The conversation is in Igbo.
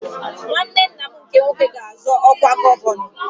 Nwanne nna m nke nwoke ga-azọ ọkwa gọvanọ